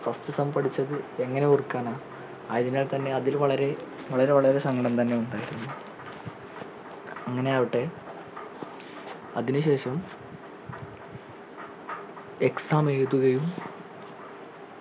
first sem പഠിച്ചത് എങ്ങനെ ഓർക്കാനാ ആയതിനാൽ തന്നെ അതിൽ വളരെ വളരെ വളരെ സങ്കടം തന്നെ ഉണ്ടായിരുന്നു അങ്ങനെ അയാവട്ടെ അതിനു ശേഷം exam എഴുതുകയും